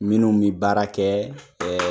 Minnu min baara kɛ